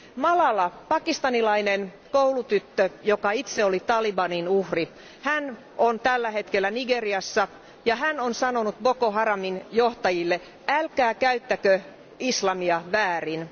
Malala, Pakistanilainen koulutyttö, joka itse oli Talibanin uhri, hän on tällä hetkellä Nigeriassa ja hän on sanonut Boko Haramin johtajille Älkää käyttäkö islamia väärin.